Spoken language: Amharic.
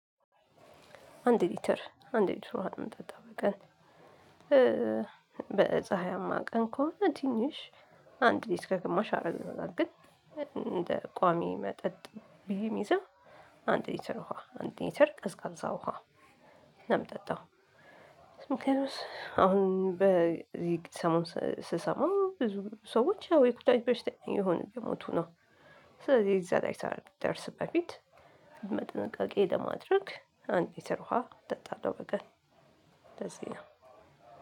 አንድ ሊትር አንድ ሊትር ውሃ ነው እምጠጣው በቀን። በፀሀያማ ቀን ከሆነ ትንሽ አንድ ሊስክ ከግማሽ አረገው ይሆናል። ግን እንደ ቋሚ መጠጥ ብየ እምይዘው። አንድ ሊትር ውሃ አንድ ልትር ቀዝቃዛ ውሃ። ምንም ጠጣው። ስምክሌቶስ አሁን በዚህ ሰሞን ስሰማው ብዙ ሰዎች ያው የቁጣዊ በሽታ የሆነ የሞቱ ነው። ስለዚህ የዛ ላይ ሳልደርስ በፊት መጠነቀቄ ለማድረግ አንድ ሊትር ውሃ እጠጣለው በቀን። እንደዚህ ነው።